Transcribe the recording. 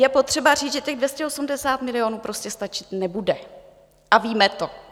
Je potřeba říct, že těch 280 milionů prostě stačit nebude a víme to.